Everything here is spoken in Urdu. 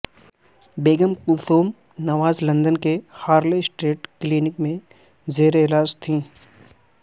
بیگم کلثوم نواز لندن کے ہارلےا سٹریٹ کلینک میں زیر علاج تھیں